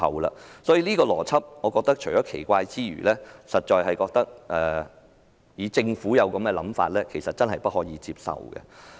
我認為這個邏輯十分奇怪，如果政府有這樣的想法，其實真的不能接受。